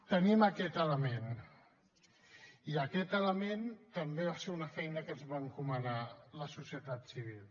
tenim aquest element i aquest element també va ser una feina que ens va encomanar la societat civil